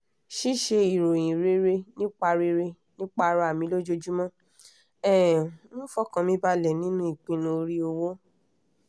ṣíṣe ìròyìn rere nípa rere nípa ara mi lojoojúmọ́ um ń fọkàn mi balẹ̀ nínú ipinnu orí owó